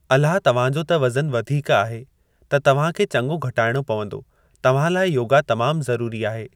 अलाह तव्हांजो त वज़न वधीक आहे त तव्हां खे चंङो घटाइणो पवंदो। तव्हां लाइ योगा तमाम ज़रूरी आहे।